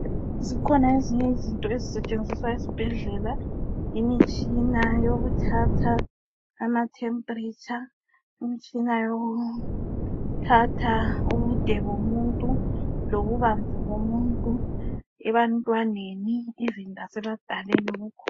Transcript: Zikhona ezinye izinto ezisetshenziswa esibhedlela imitshina yokuthatha ama temperature imitshina yokuthatha ubude bomuntu lobubanzi bomuntu ebantwaneni lasebadaleni kukhona.